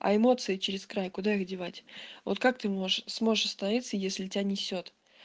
а эмоции через край куда их девать вот как ты можешь сможешь остановиться если тебя несёт